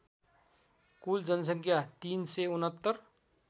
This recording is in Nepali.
कुल जनसङ्ख्या ३६९